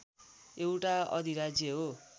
एउटा अधिराज्य हो